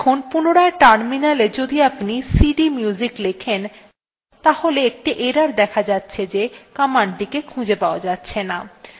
এখন পুনরায় terminal এ যদি আপনি cdmusic লেখেন তাহলে একটি error দেখা যাচ্ছে যে commandthe কে খুঁজে পাওয়া যাচ্ছেনা